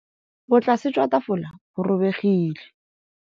Botlasê jwa tafole bo robegile.